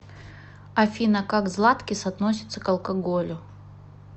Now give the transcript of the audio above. афина как златкис относится к алкоголю